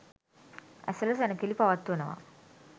ඇසළ සැණකෙළි පවත්වනවා.